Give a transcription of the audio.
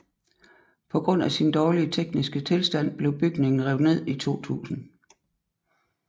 På grund af sin dårlige tekniske tilstand blev bygningen revet ned i 2000